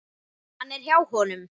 Hann er hjá honum.